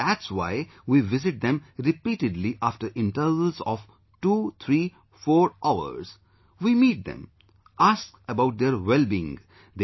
So that's why we visit them repeatedly after intervals of twothreefour hours, we meet them, ask about their wellbeing